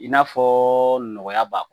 I n'a fɔ nɔgɔya b'a kɔnɔ